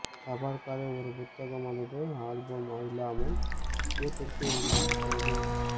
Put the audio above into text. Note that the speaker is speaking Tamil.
தபால்காரர் ஒரு புத்தகம் அல்லது ஆல்பம் இல்லாமல் வீட்டிற்கு எங்களுக்கு கொண்டு